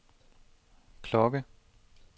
klokke